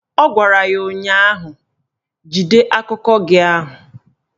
Ọ gwara ya ụnyaahụ "Jide akụkọ gị ahụ"!